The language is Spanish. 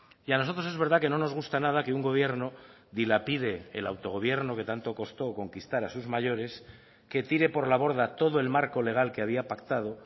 y a nosotros es verdad que no nos gusta nada que un gobierno dilapide el autogobierno que tanto costó conquistar a sus mayores que tire por la borda todo el marco legal que había pactado